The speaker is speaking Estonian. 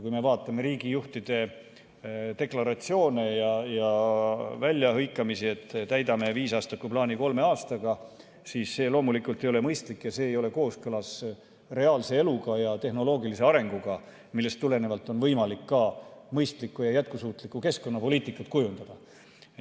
Kui me vaatame riigijuhtide deklaratsioone ja väljahõikamisi, et täidame viisaastakuplaani kolme aastaga, siis see loomulikult ei ole mõistlik, see ei ole kooskõlas reaalse eluga ja tehnoloogilise arenguga, millest tulenevalt oleks võimalik ka mõistlikku ja jätkusuutlikku keskkonnapoliitikat kujundada.